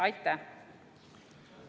Aitäh!